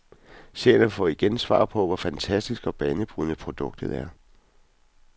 Seerne får igen svar på, hvor fantastisk og banebrydende produktet er.